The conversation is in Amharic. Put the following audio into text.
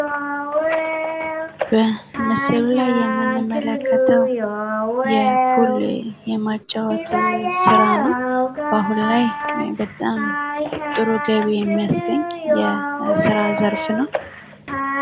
በምስሉ ላይ የምንመለከተው የፑል የማጫወት ስራ ነው። ባሁን ላይ ጥሩ ገቢ የሚያስገኝ የስራ ዘርፍ ነው።